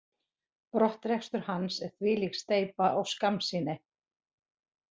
Brottrekstur hans er þvílík steypa og skammsýni.